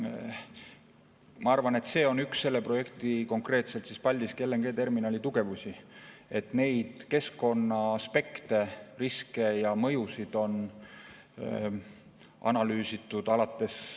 Ma arvan, et see on üks selle projekti, konkreetselt Paldiski LNG‑terminali tugevusi, et keskkonnaaspekte, riske ja mõjusid on analüüsitud alates ...